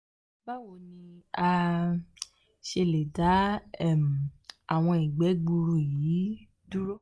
bawo ni a um ṣe le da um awọn igbe gbuuru yi um duro?